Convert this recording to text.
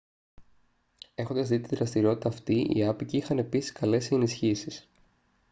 έχοντας δει τη δραστηριότητα αυτή οι άποικοι είχαν επίσης καλέσει ενισχύσεις